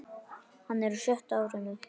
Hann er á sjötta árinu.